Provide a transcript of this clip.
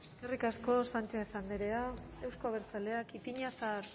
eskerrik asko sánchez andrea euzko abertzaleak ipiñazar